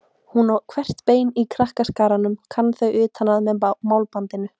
Hún á hvert bein í krakkaskaranum, kann þau utan að með málbandinu.